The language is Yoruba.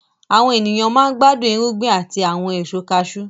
Àwọn èèyàn máa n gbádùn irúgbìn àti àwọn ẹ̀so kaasú